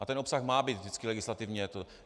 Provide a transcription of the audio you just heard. A ten obsah má být vždycky legislativně...